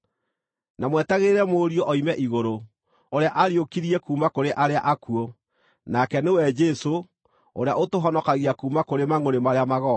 na mwetagĩrĩre Mũriũ oime igũrũ, ũrĩa aariũkirie kuuma kũrĩ arĩa akuũ, nake nĩwe Jesũ, ũrĩa ũtũhonokagia kuuma kũrĩ mangʼũrĩ marĩa magooka.